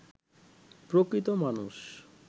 প্রকৃত মানুষ